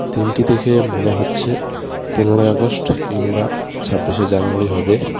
দিনটি দেখে মনে হচ্ছে পনেরই আগস্ট কিংবা ছাব্বিশে জানুয়ারি হবে.